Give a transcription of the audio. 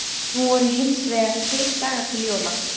Nú voru hins vegar tveir dagar til jóla.